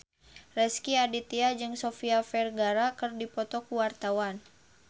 Rezky Aditya jeung Sofia Vergara keur dipoto ku wartawan